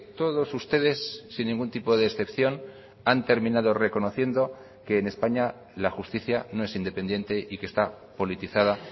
todos ustedes sin ningún tipo de excepción han terminado reconociendo que en españa la justicia no es independiente y que está politizada